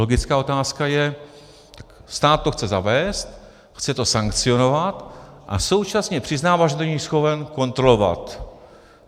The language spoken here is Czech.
Logická otázka je: Stát to chce zavést, chce to sankcionovat, a současně přiznává, že to není schopen kontrolovat.